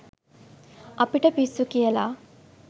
අපිට පිස්සු කියලා.